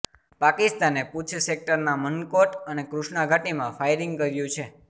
પાકિસ્તાને પૂંછ સેક્ટરના મનકોટ અને કૃષ્ણાઘાટીમાં ફાયરિંગ કર્યુ છે